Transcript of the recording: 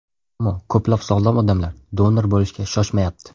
Ammo ko‘plab sog‘lom odamlar donor bo‘lishga shoshmayapti.